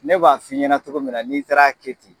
Ne b'a f'i ɲɛnɛ togo min na n'i taara kɛ ten